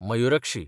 Mayurakshi